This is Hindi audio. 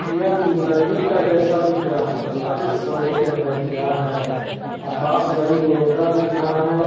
यह नदी का जैसा दिख रहा है पता नहीं समुद्र है क्या है आकाश रंग बिरंगा दिख रहा है।